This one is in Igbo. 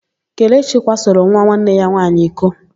Kelechi kwasoro nwa nwanne ya nwaanyị iko.